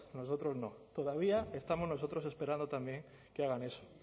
nosotros no todavía estamos nosotros esperando también que hagan eso